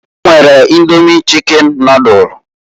E nwere Indomi chicken nodulu.